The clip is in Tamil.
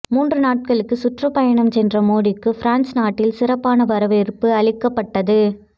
மூன்று நாடுகளுக்கு சுற்றுப்பயணம் சென்ற மோடிக்கு பிரான்ஸ் நாட்டில் சிறப்பான வரவேற்பு அளிக்கப்பட்டது